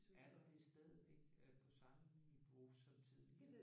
Er der det stadigvæk? Øh på samme niveau som tidligere